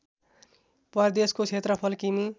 प्रदेशको क्षेत्रफल किमि